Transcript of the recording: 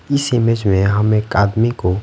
इस इमेज में हम एक आदमी को--